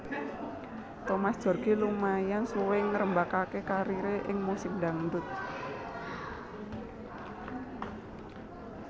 Thomas Djorghi lumayan suwé ngrembakaké kariré ing musik dhangdut